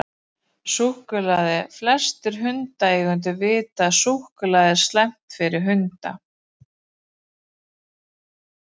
Súkkulaði: Flestir hundaeigendur vita að súkkulaði er slæmt fyrir hunda.